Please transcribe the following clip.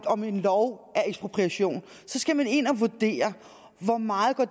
om en lov er ekspropriation så skal man ind og vurdere hvor meget